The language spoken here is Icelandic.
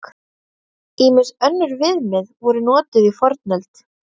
Ýmis önnur viðmið voru notuð í fornöld.